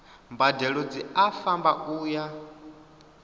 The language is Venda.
mbadelo dzi a fhambana uya